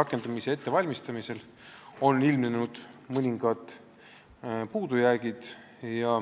rakendamise ettevalmistamisel on ilmnenud mõningad puudujäägid.